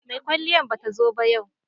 mai kwalliyan ba ta zo ba yau